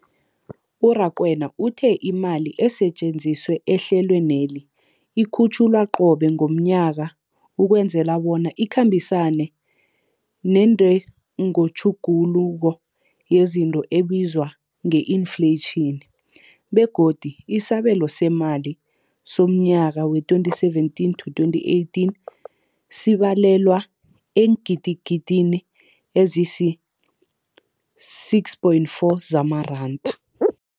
U-Rakwena uthe imali esetjenziswa ehlelweneli ikhutjhulwa qobe ngomnyaka ukwenzela bona ikhambisane nentengotjhuguluko yezinto ebizwa nge-infleyitjhini, begodu isabelo seemali somnyaka we-2017 to 2018 sibalelwa eengidigidini ezisi-6.4 zamaranda.